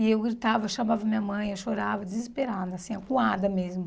E eu gritava, chamava minha mãe, eu chorava, desesperada, assim, acuada mesmo.